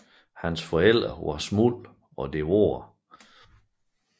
Hans forældre var Shmuel og Devorah